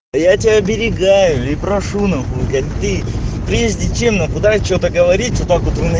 я тебя оберегаю и прошу нахуй блять ты прежде чем что-то говорить вот так вот